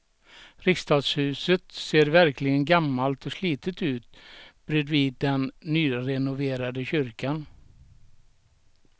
Riksdagshuset ser verkligen gammalt och slitet ut bredvid den nyrenoverade kyrkan.